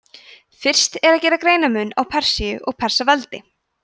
fyrst er að gera greinarmun á persíu og persaveldi